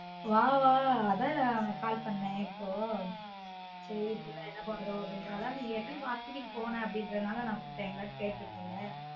வா வா அதான் நான் உனக்கு call பண்ணேன் இப்போ சரி பிள்ள என்ன பண்ணுதோ அப்டினு நீ ஏற்கனவே marketing போன அப்டினால விட்டுட்டன் இல்ல கேட்டுருப்பன்